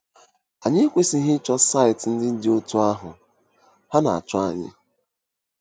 Anyị ekwesịghị ịchọ saịtị ndị dị otú ahụ - ha na-achọ anyị!